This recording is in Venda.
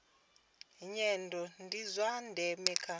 nyendo ndi zwa ndeme kha